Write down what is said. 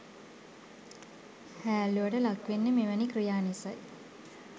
හෑල්ලුවට ලක්වෙන්නෙ මෙවැනි ක්‍රියා නිසයි.